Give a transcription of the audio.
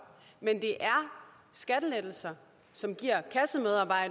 men det er skattelettelser som giver kassemedarbejderen